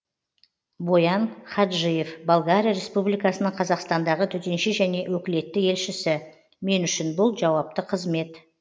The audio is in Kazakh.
боян хаджиев болгария республикасының қазақстандағы төтенше және өкілетті елшісі мен үшін бұл жауапты қызмет